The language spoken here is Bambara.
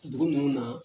Dugu ninnu na